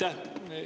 Aitäh!